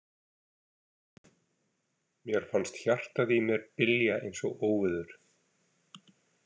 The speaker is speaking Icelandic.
Mér fannst hjartað í mér bylja eins og óveður.